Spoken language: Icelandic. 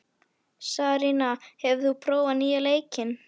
Sarína, hefur þú prófað nýja leikinn?